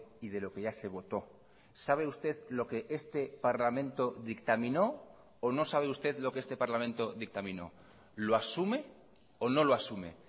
y de lo que ya se votó sabe usted lo que este parlamento dictaminó o no sabe usted lo que este parlamento dictaminó lo asume o no lo asume